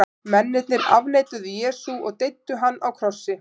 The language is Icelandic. Mennirnir afneituðu Jesú og deyddu hann á krossi.